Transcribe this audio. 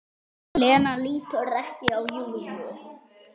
Lena lítur ekki á Júlíu.